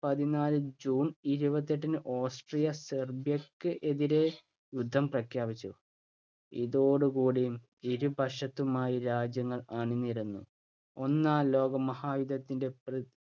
പതിനാല് june ഇരുപത്തിയെട്ടിന് Austria സെർബിയക്ക് എതിരെ യുദ്ധം പ്രഖ്യാപിച്ചു. ഇതോടുകൂടി ഇരുപക്ഷത്തുമായി രാജ്യങ്ങൾ അണിനിരന്നു ഒന്നാം ലോകമഹായുദ്ധത്തിന്‍റെ